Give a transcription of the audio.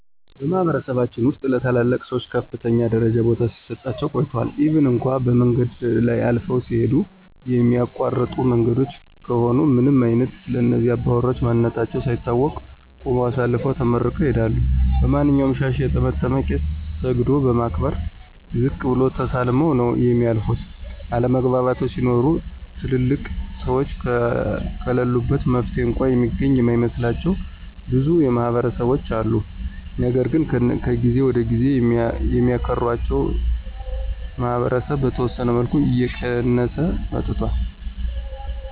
በማህበረሰባችን ውስጥ ለታላላቅ ሰዎች በከፍተኛ ደረጃ ቦታ ሲሰጣቸው ቆይቷል ኢቭን እንኳ በመንገድ ላይ አልፈው ሲሂዱ የሚያቋርጡ መንገዶች ከሆኑ ምንም አይነት ስለእነዚህ አባውራ ማንነታቸው ሳይታወቅ ቁመው አሳልፈው ተመርቀው ይሂዳሉ። ማንኛውንም ሻሽ የጠመጠመ ቄስ ሰግዶ በማክበር ዝቅ ብሎ ተሳልመው ነው የሚያልፉት፤ አለመግባባቶች ሲኖሩ ትልልቅ ሰዎች ከለሉበት መፍትሔ እንኳ የሚገኝ የማይመስላቸው ብዙ ማህበረሰቦች አሉ። ነገር ግን ከጊዜ ወደ ጊዜ የሚያክራቸው ማህበረሰብ በተወሰነ መልኩ እየቀየሰ መጥቷል።